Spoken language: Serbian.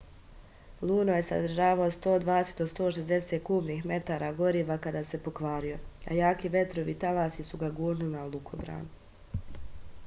luno je sadržao 120-160 kubnih metara goriva kad se pokvario a jaki vetrovi i talasi su ga gurnuli na lukobran